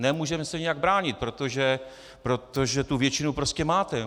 Nemůžeme se nijak bránit, protože tu většinu prostě máte.